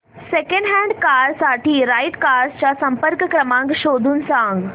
second hand car साठी right cars चा संपर्क क्रमांक शोधून सांग